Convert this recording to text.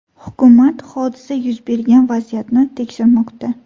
Hukumat hodisa yuz bergan vaziyatni tekshirmoqda.